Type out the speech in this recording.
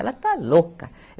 Ela está louca.